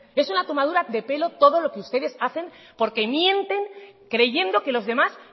es una tomadura de pelo todo lo que ustedes hacen porque mientes creyendo que los demás